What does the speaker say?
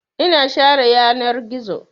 Ina share yanar gizo.